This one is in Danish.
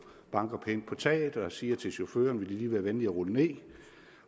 banker pænt på taget og siger til chaufføren vil de lige være venlig at rulle ned